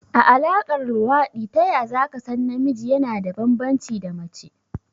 A Alaƙar luwaɗi taya zaka san namiji yana da banbanci da mace?